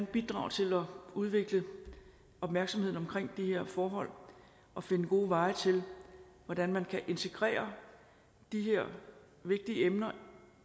bidrage til at udvikle opmærksomheden omkring de her forhold og finde gode veje til hvordan man kan integrere de her vigtige emner